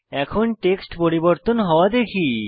এখন টেক্সট পরিবর্তন হওয়া দেখি